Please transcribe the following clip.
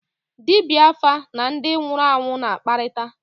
Dibịa áfá na ndị nwụrụ anwụ na-akparịta